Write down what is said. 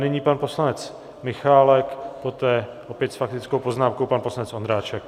Nyní pan poslanec Michálek, poté opět s faktickou poznámkou pan poslanec Ondráček.